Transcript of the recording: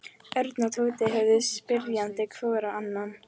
Örn og Tóti horfðu spyrjandi hvor á annan.